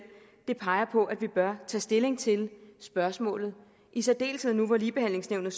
det peger på at vi bør tage stilling til spørgsmålet i særdeleshed nu hvor ligebehandlingsnævnet